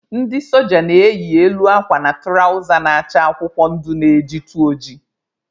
Ndị soja na-eyi elu akwa na tụrawza na-acha akwụkwọ ndụ na-ejitu oji.